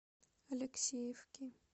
алексеевки